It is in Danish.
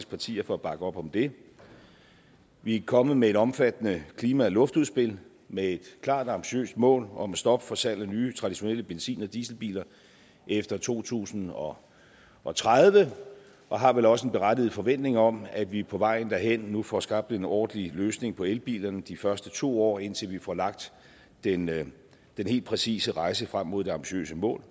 partier for at bakke op om det vi er kommet med et omfattende klima og luftudspil med et klart ambitiøst mål om at stoppe for salg af nye traditionelle benzin og dieselbiler efter to tusind og og tredive og har vel også en berettiget forventning om at vi på vejen derhen nu får skabt en ordentlig løsning for elbilerne de første to år indtil vi får lagt den helt præcise rejseplan frem mod det ambitiøse mål